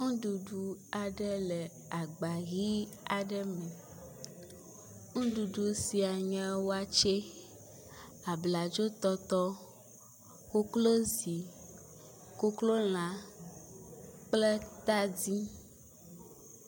Nuɖuɖu aɖe le agba ʋi aɖe me, nuɖuɖu sia nye watse, abladzo tɔtɔ, koklozi, koklo lã kple tadi